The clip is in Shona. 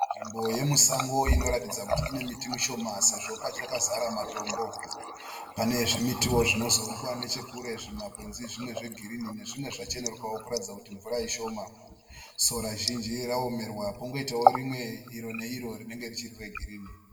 Nzvimbo yemusango inoratidza kuti ine miti mishoma sezvo pachakazara matombo. Pane zvimitiwo zvinozowonekwa nechekure zvimakwenzi zvimwe zvegirini nezvimwe zvacheneruka kuratidza kuti mvura ishoma. Sora zhinji raomerwa pongoitawo rimwe iro neiro rinenge richiri regirini.